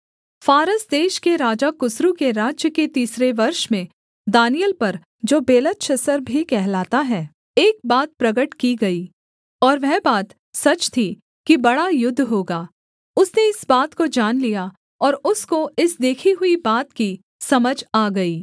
फारस देश के राजा कुस्रू के राज्य के तीसरे वर्ष में दानिय्येल पर जो बेलतशस्सर भी कहलाता है एक बात प्रगट की गई और वह बात सच थी कि बड़ा युद्ध होगा उसने इस बात को जान लिया और उसको इस देखी हुई बात की समझ आ गई